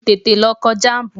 Tètè lọ kọ jám̀bù!